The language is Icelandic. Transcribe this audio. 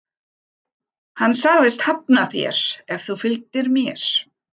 Hann sagðist hafna þér ef þú fylgdir mér.